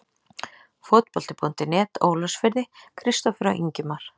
Fótbolti.net, Ólafsfirði- Kristófer og Ingimar.